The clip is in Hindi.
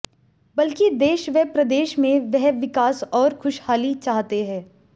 बल्कि देश व प्रदेश में वह विकास और खुशहाली चाहते है